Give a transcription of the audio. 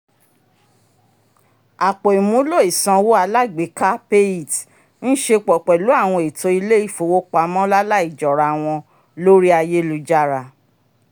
àpò ìmúlò isanwo alágbèéká payit ń ṣepọ pẹlu awọn ètò ilè-ifowopamọ lalaijọrawọn lórí ayélujára